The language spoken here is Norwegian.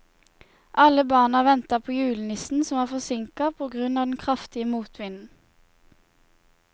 Alle barna ventet på julenissen, som var forsinket på grunn av den kraftige motvinden.